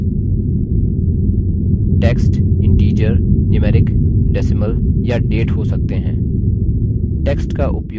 field types text integer numeric decimal या date हो सकते हैं